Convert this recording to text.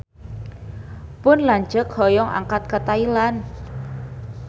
Pun lanceuk hoyong angkat ka Thailand